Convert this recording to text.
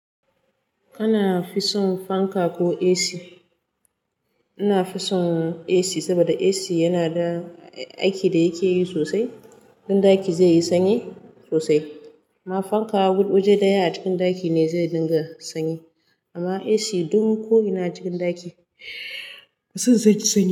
Kana fi son fanka ko AC? Ina fi son AC saboda AC yana da aiki da yake yi sosai. In ɗaki zai yi sanyi sosai. Amma fanka waje daya a cikin ɗaki ne zai dinga sanyi. Amma AC duk ko ina cikin ɗaki, zai saki sanyi.